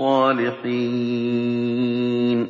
صَالِحِينَ